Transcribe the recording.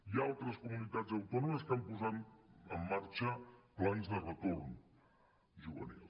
hi ha altres comunitats autònomes que han posat en marxa plans de retorn juvenil